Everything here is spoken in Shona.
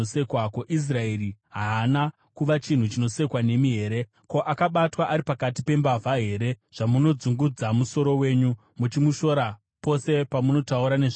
Ko, Israeri haana kuva chinhu chinosekwa nemi here? Ko, akabatwa ari pakati pembavha here, zvamunodzungudza musoro wenyu muchimushora pose pamunotaura nezvake?